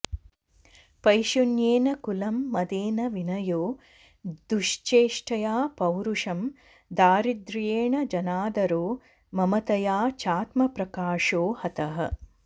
पैशुन्येन कुलं मदेन विनयो दुश्चेष्टया पौरुषं दारिद्र्येण जनादरो ममतया चात्मप्रकाशो हतः